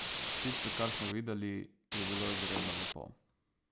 Tisto, kar smo videli, je bilo izredno lepo.